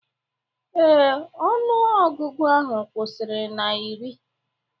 Ee, ọnụ ọgụgụ ahụ kwụsịrị na iri